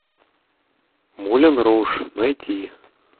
мулен руж найти